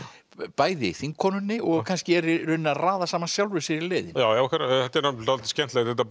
bæði þingkonunni og kannski í raun að raða saman sjálfri sér í leiðinni akkúrat þetta er dálítið skemmtilegt þetta